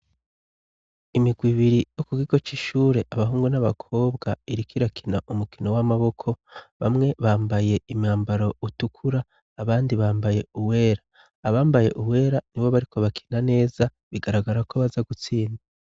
Imigwi ibiri yo ku kigo c'ishure, abahungu n'abakobwa iriko irakina umukino w'amaboko, bamwe bambaye imwambaro utukura, abandi bambaye uwera. Abambaye uwera nibo bariko bakina neza, bigaragara ko baza gutsinda.